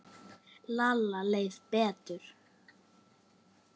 Lalla leið betur.